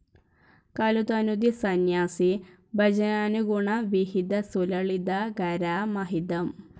കലുതനുതി സന്യാസി ഭജനാനുഗുണ വിഹിതസുലളിതാകാരമഹിതം